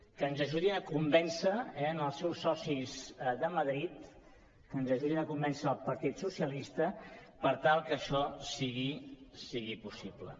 que ens ajudin a convèncer els seus socis de madrid que ens ajudin a convèncer el partit socialista per tal que això sigui possible